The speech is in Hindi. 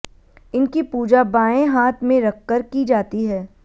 इनकी पूजा बायें हाथ में रखकर की जाती है